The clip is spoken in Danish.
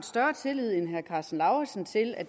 større tillid end herre karsten lauritzen til at